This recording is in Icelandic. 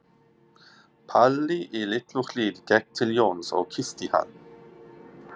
Palli í Litlu-Hlíð gekk til Jóns og kyssti hann.